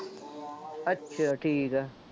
ਅੱਛਾ ਠੀਕ ਹੈ,